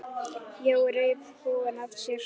Jói reif húfuna af sér.